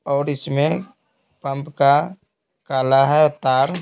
और इसमें पंप का काला है तार--